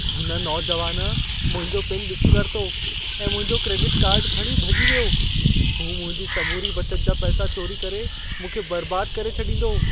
हुन नौजवान मुंहिंजो पिन ॾिसी वरितो ऐं मुंहिंजो क्रेडिट कार्ड खणी भॼी वियो। हू मुंहिंजी समूरी बचत जा पैसा चोरी करे मूंखे बर्बाद करे छॾींदो।